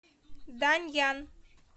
даньян